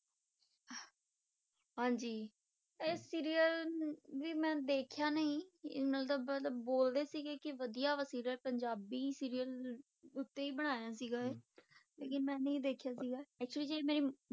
ਹਾਂਜੀ ਇਹ serial ਵੀ ਮੈਂ ਦੇਖਿਆ ਨਹੀਂ ਬੋਲਦੇ ਸੀਗੇ ਕਿ ਵਧੀਆ ਵਾ serial ਪੰਜਾਬੀ serial ਉੱਤੇ ਹੀ ਬਣਾਇਆ ਸੀਗਾ ਇਹ, ਲੇਕਿੰਨ ਮੈਂ ਨਹੀਂ ਦੇਖਿਆ ਸੀਗਾ actually ਜਿਹੜੀ ਮੇਰੀ